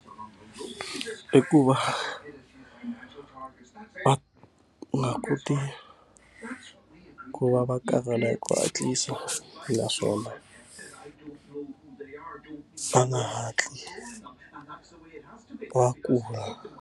I ku va va nga koti ku va va karhala hi ku hatlisa naswona va nga hatli va kula.